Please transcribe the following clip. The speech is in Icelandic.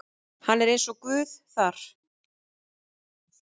Hann er eins og Guð þar.